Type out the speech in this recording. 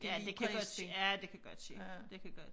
Ja det kan godt ske ja det kan godt ske det kan godt